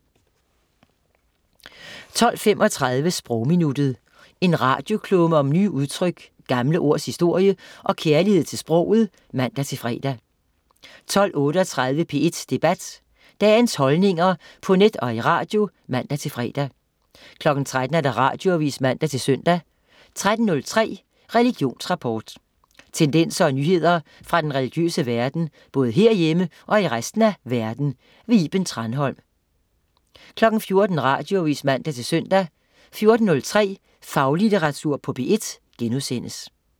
12.35 Sprogminuttet. En radioklumme om nye udtryk, gamle ords historie og kærlighed til sproget (man-fre) 12.38 P1 Debat. Dagens holdninger på net og i radio (man-fre) 13.00 Radioavis (man-søn) 13.03 Religionsrapport. Tendenser og nyheder fra den religiøse verden, både herhjemme og i resten af verden. Iben Thranholm 14.00 Radioavis (man-søn) 14.03 Faglitteratur på P1*